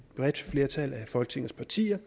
bredt flertal af folketingets partier